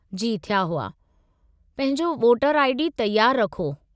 जी, थिया हुआ। पंहिंजो वोटर आई.डी. तयारु रखो।